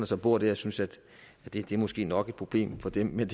som bor der synes at det det måske nok er et problem for dem men